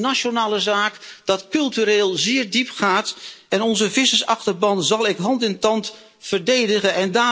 Dit is een nationale zaak die cultureel zeer diep gaat en onze vissersachterban zal ik met hand en tand verdedigen.